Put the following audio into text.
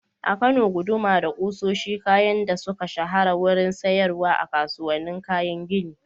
A Kano, guduma da kusoshi kayan da suka shahara wurin siyarwa a kasuwannin kayan gini.